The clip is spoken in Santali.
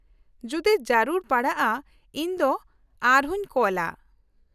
-ᱡᱩᱫᱤ ᱡᱟᱹᱨᱩᱲ ᱯᱟᱲᱟᱜᱼᱟ ᱤᱧ ᱫᱚ ᱟᱨᱦᱚᱸᱧ ᱠᱚᱞᱼᱟ ᱾